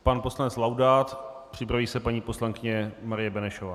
Pan poslanec Laudát, připraví se paní poslankyně Marie Benešová.